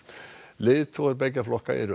leiðtogar beggja flokka eru